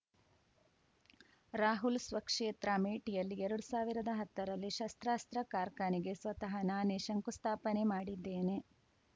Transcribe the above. ರಾಹುಲ್‌ ಸ್ವಕ್ಷೇತ್ರ ಅಮೇಠಿಯಲ್ಲಿ ಎರಡ್ ಸಾವಿರ್ದಾ ಹತ್ತರಲ್ಲೇ ಶಸ್ತ್ರಾಸ್ತ್ರ ಕಾರ್ಖಾನೆಗೆ ಸ್ವತಃ ನಾನೇ ಶಂಕುಸ್ಥಾಪನೆ ಮಾಡಿದ್ದೇನೆ